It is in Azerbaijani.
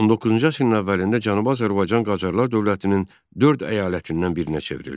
19-cu əsrin əvvəlində Cənubi Azərbaycan Qacarlar dövlətinin dörd əyalətindən birinə çevrildi.